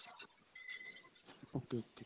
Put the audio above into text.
ok ok